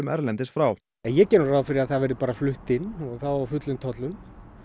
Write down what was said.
erlendis frá ég geri nú ráð fyrir að það verði bara flutt inn á fullum tollum